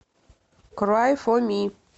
край фо ми